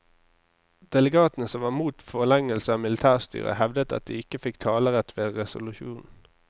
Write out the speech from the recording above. Delegatene som var mot forlengelse av militærstyret hevdet at de ikke fikk talerett ved resolusjonen.